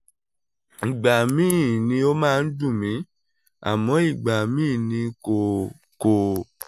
ìgbà míì ni ó máa ń dun mi àmọ́ ìgbà míì ni kò kò